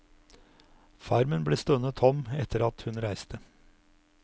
Farmen ble stående tom etter at hun reiste.